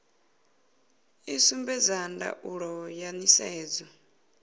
i sumbedza ndaulo ya nisedzo